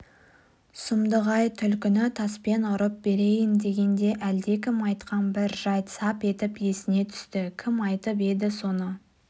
сұмдық-ай түлкіні таспен ұрып берейін дегенде әлдекім айтқан бір жайт сап етіп есіне түсті кім айтып еді соны